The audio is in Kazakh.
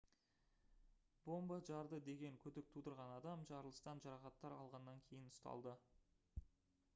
бомба жарды деген күдік тудырған адам жарылыстан жарақаттар алғаннан кейін ұсталды